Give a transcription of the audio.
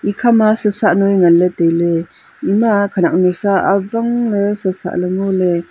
ikhama su sah nui nganley tailey ima khanyak nu sa awangley su sahley ngoley.